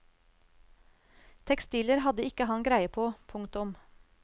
Tekstiler hadde ikke han greie på. punktum